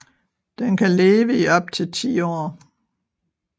Den kan leve i op til 10 år